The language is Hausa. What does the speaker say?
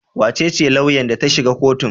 Wa ce ce lauyan da ta shiga kotun?